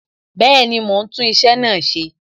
Bẹẹni, mo ń tún iṣẹ́ náà ṣe